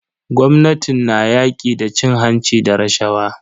Gwamnatin na yaƙi da cin hanci da rashawa.